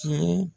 Tiɲɛ